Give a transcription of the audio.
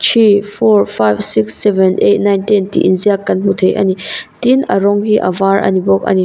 three four five six seven eight nine ten tih inziak kan hmu thei a ni tin a rawng hi a var ani bawk ani.